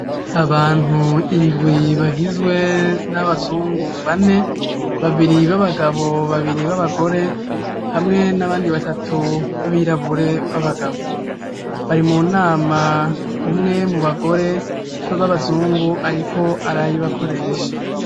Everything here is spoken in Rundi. Abantu indwi bagizwe n'abazungu bane, babiri b'abagabo babiri b'abagore hamwe n'abandi batatu babirabure b'abagabo, bari mu nama umwe mu bagore b'abazungu ariko arayibakoresha.